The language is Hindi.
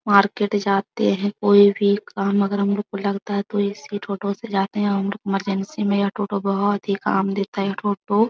मार्केट जाते हैं कोई भी काम अगर हम लोग को लगता है तो इसी टोटो से जाते हैं और इमरजेंसी में यह टोटो बहुत ही काम देता है यह टोटो --